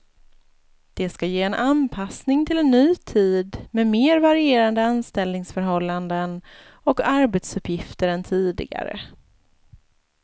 Det ska ge en anpassning till en ny tid med mer varierande anställningsförhållanden och arbetsuppgifter än tidigare.